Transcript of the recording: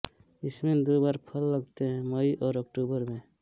इसमें दो बार फ़ल लगते हैं मई और अक्टूबर में